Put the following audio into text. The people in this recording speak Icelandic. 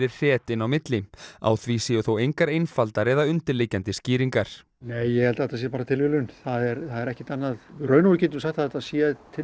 hret inni á milli á því séu þó engar einfaldar eða undirliggjandi skýringar nei ég held að þetta sé bara tilviljun það er ekkert annað í raun og veru getum við sagt að þetta sé